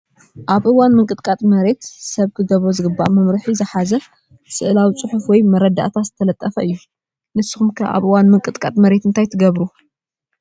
ኣብ እዋን ምንቅጥቃጥ መሬት ሰብ ክገብሮ ዝግበኦ መምርሒ ዝሓዘ ስእላዊ ፅሑፍ ወይ መረዳእታ ዝተለጠፈ እዩ፡፡ ንስኹም ከ ኣብ እዋን ምንቅጥቃጥ መሬት እንታይ ትገብሩ?